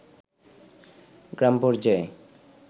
গ্রামপর্যায়ে